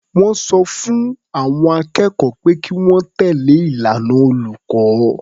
Wọ́n sọ fún àwọn akẹ́kọ̀ọ́ pé kí wọ́n tẹ̀lé ìlànà olùkọ́.